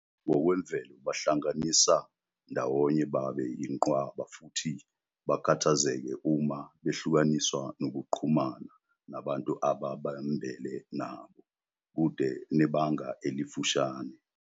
Ngokwemvelo bahlanganisa ndawonye babe yinqwaba futhi bakhathazeke uma behlukaniswa nokuxhumana nabantu ababambele nabo, kude nebanga elifushane.